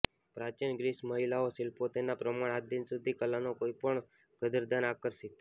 પ્રાચીન ગ્રીસ મહિલાઓ શિલ્પો તેના પ્રમાણ આજ દિન સુધી કલાના કોઈપણ કદરદાન આકર્ષિત